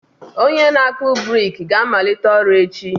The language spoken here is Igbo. Onye na akpu brik ga-amalite ọrụ echi.